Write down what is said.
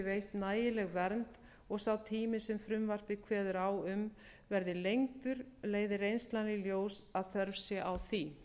veitt nægileg vernd og sá tími sem frumvarpið kveður á um verði lengdur leiði reynslan í ljós að þörf sé á því